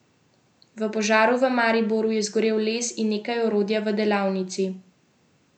V požaru v Mariboru je zgorel les in nekaj orodja v delavnici.